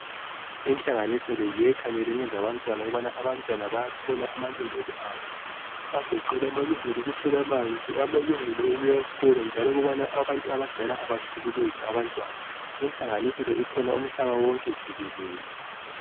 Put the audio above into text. Inhlanganiso le yiyo ekhangele ngezabantwana, ukubana abantwana bayathola amalungelo abo. Agoqela amalungelo awokuthola amanzi, amalungelo awokuya esikolo njalo ukubana abantu abadala abahlukuluzi abantwana. Inhlanganiso le ikhona umhlaba wonke jikelele.